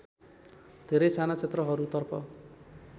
धेरै साना क्षेत्रहरूतर्फ